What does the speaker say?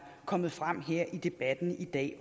kommet frem her i debatten i dag